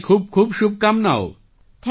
મારી ખૂબખૂબ શુભકામનાઓ